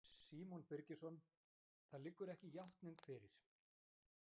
Símon Birgisson: Það liggur ekki játning fyrir?